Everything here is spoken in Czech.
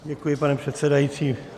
Děkuji, pane předsedající.